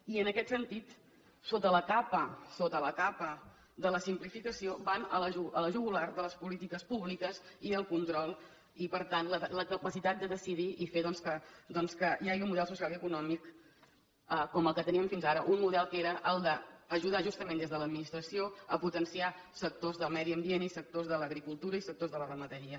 i en aquest sentit sota la capa sota la capa de la simplificació van a la jugular de les polítiques públiques i al control i per tant la capacitat de decidir i fer doncs que hi hagi un model social i econòmic com el que teníem fins ara un model que era el d’ajudar justament des de l’administració a potenciar sectors del medi ambient i sectors de l’agricultura i sectors de la ramaderia